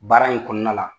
Baara in kɔnɔna la